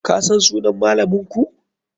Kasan sunan malaminku?